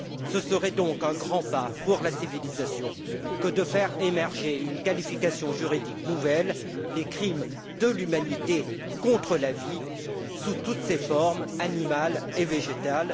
Ce serait donc un grand pas pour la civilisation que de faire émerger une qualification juridique nouvelle les crimes de l'humanité contre la vie sous toutes ses formes, animale et végétale.